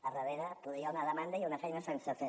a darrere poder hi ha una demanda i una feina sense fer